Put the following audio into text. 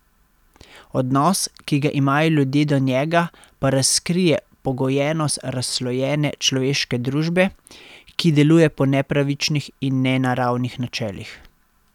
Odnos, ki ga imajo ljudje do njega, pa razkrije pogojenost razslojene človeške družbe, ki deluje po nepravičnih in nenaravnih načelih.